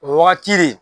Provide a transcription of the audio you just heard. O wagati de